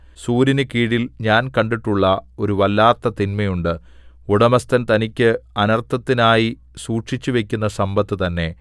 സൂര്യനുകീഴിൽ ഞാൻ കണ്ടിട്ടുള്ള ഒരു വല്ലാത്ത തിന്മയുണ്ട് ഉടമസ്ഥൻ തനിക്ക് അനർത്ഥത്തിനായി സൂക്ഷിച്ചുവയ്ക്കുന്ന സമ്പത്ത് തന്നെ